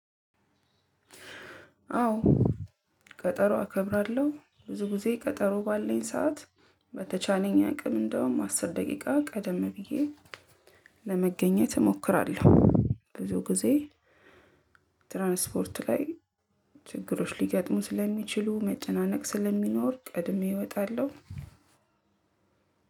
አዎ ቀጠሮ አከብራለሁ ብዙ ጊዜ ቀጠሮ ባለኝ ሰዓት በተቻለኝ አቅም እንደውም አስር ደቂቃ ቀደም ብዬ ለመገኘት እሞክራለሁ። ብዙ ጊዜ ትራንስፖርት ላይ ችግሮች ሊገጥሙ ስለሚችሉ መጨናነቅ ስለሚኖር ቀድሜ እወጣለሁ።